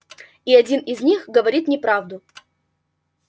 и один из них говорит неправду